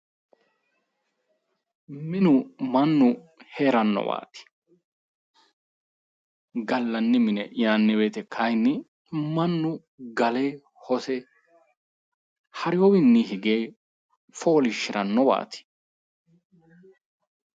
Minenna gallanni mone yinanni woyte kayinnimannu gale hose hareewowinni hige foliishshirannowati